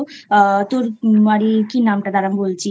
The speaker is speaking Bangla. আহ তোর আরে কী নামটা দাঁড়া ভুলে গেছি।